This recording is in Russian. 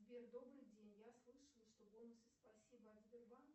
сбер добрый день я слышала что бонусы спасибо от сбербанка